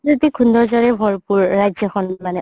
প্ৰাকৃতিক সৌন্দৰ্যৰে ভৰপুৰ ৰাজ্যখন মানে